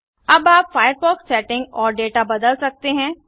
अब आप Firefox settings और डेटा बदल सकते हैं